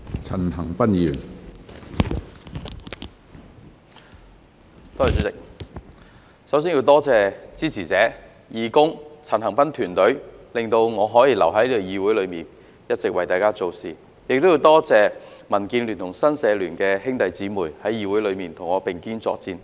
主席，首先要多謝支持者、義工、陳恒鑌團隊，令我可以留在議會裏一直為大家做事，亦多謝民建聯及新界社團聯會的兄弟姊妹在議會內與我並肩作戰。